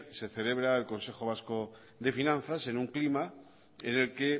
se celebra el consejo vasco de finanzas en un clima en el que